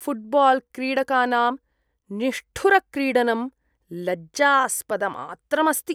फ़ुट्बाल्क्रीडकानाम् निष्ठुरक्रीडनं लज्जास्पदमात्रम् अस्ति।